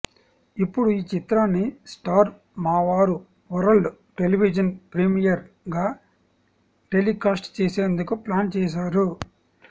ఇప్పుడు ఈ చిత్రాన్ని స్టార్ మా వారు వరల్డ్ టెలివిజన్ ప్రీమియర్ గా టెలికాస్ట్ చేసేందుకు ప్లాన్ చేసారు